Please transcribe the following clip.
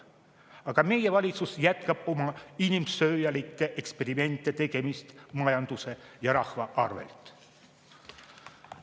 Aga meie valitsus jätkab oma inimsööjalike eksperimentide tegemist majanduse ja rahva arvelt.